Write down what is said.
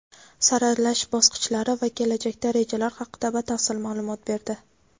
saralash bosqichlari va kelajakda rejalar haqida batafsil ma’lumot berdi.